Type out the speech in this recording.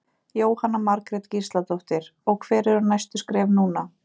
Jóhanna Margrét Gísladóttir: Og hver eru næstu skref núna?